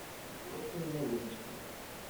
взрослые новиночки